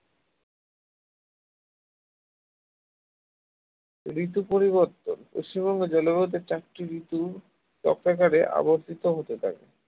ঋতু পরিবর্তন পশ্চিমবঙ্গের জলবায়ুতে চারটি ঋতু চক্রাকারে আবর্তিত হতে থাকে।